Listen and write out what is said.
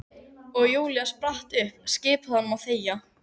Og Júlía spratt upp, skipaði honum að þegja.